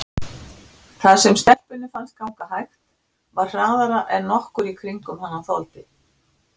Það sem stelpunni fannst ganga hægt var hraðara en nokkur í kringum hana þoldi.